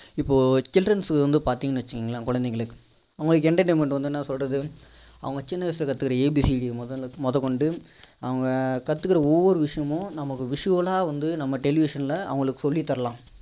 இப்போ childrens க்கு வந்து பார்த்தீங்கன்னு வச்சிகோங்களேன் குழந்தைங்களுக்கு அவங்களுக்கு entertainment வந்து என்ன சொல்றது அவங்க சின்ன வயசுல கற்றுக்கிற abcd முதல் கொண்டு அவங்க கத்துக்கிற ஒரு ஒரு விஷயமும் நம்ம visual லா வந்து நம்ம television ல அவங்களுக்கு சொல்லி தரலாம்